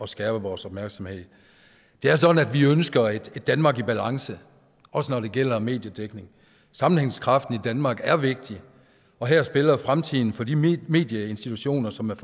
skærpe vores opmærksomhed det er sådan at vi ønsker et danmark i balance også når det gælder mediedækning sammenhængskraften i danmark er vigtig og her spiller fremtiden for de medieinstitutioner som